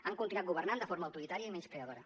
han continuat governant de forma autoritària i menyspreadora